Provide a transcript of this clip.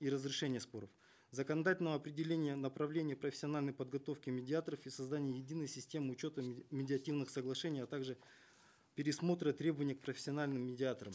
и разрешения споров законодательного определения направления профессиональной подготовки медиаторов и создание единой системы учета медиативных соглашений а также пересмотра требований к профессиональным медиаторам